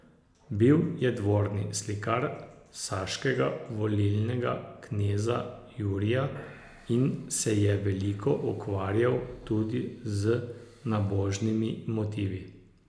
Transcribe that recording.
Bil je dvorni slikar saškega volilnega kneza Jurija in se je veliko ukvarjal tudi z nabožnimi motivi.